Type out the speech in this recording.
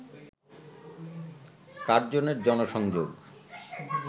কার্জনের জনসংযোগ